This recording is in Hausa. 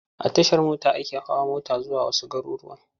A Tashar mota ake hawa mota zuwa wasu garurruwan.